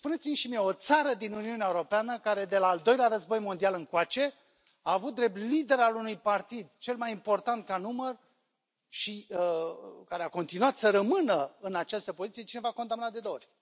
Spuneți mi și mie o țară din Uniunea Europeană, de la Al Doilea Război mondial încoace, care a avut drept lider al unui partid cel mai important ca număr și care a continuat să rămână în această poziție pe cineva condamnat de două ori.